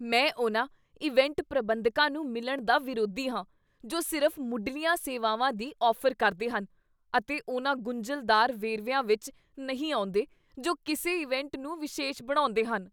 ਮੈਂ ਉਹਨਾਂ ਇਵੈਂਟ ਪ੍ਰਬੰਧਕਾਂ ਨੂੰ ਮਿਲਣ ਦਾ ਵਿਰੋਧੀ ਹਾਂ ਜੋ ਸਿਰਫ਼ ਮੁਢਲੀਆਂ ਸੇਵਾਵਾਂ ਦੀ ਔਫ਼ਰ ਕਰਦੇ ਹਨ ਅਤੇ ਉਹਨਾਂ ਗੁੰਝਲਦਾਰ ਵੇਰਵਿਆਂ ਵਿੱਚ ਨਹੀਂ ਆਉਂਦੇਜੋ ਕਿਸੇ ਇਵੈਂਟ ਨੂੰ ਵਿਸ਼ੇਸ਼ ਬਣਾਉਂਦੇਹਨ।